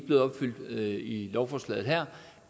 lovforslaget her